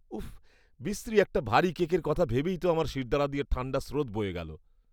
উফ্, বিশ্রী একটা ভারী কেকের কথা ভেবেই তো আমার শিরদাঁড়া দিয়ে ঠাণ্ডা স্রোত বয়ে গেল।